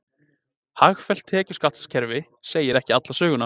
Hagfellt tekjuskattskerfi segi ekki alla söguna